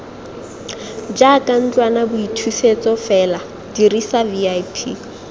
jaaka ntlwanaboithusetso fela dirisa vip